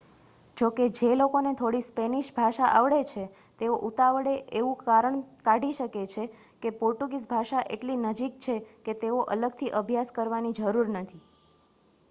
જોકે જે લોકોને થોડી સ્પેનિશ ભાષા આવડે છે તેઓ ઉતાવળે એવું તારણ કાઢી શકે છે કે પોર્ટુગીઝ ભાષા એટલી નજીક છે કે તેનો અલગથી અભ્યાસ કરવાની જરૂર નથી